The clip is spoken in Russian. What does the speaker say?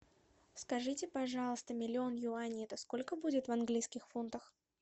скажите пожалуйста миллион юаней это сколько будет в английских фунтах